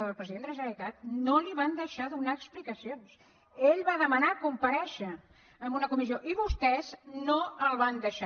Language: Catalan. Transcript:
al president de la generalitat no li van deixar donar explicacions ell va demanar comparèixer en una comissió i vostès no el van deixar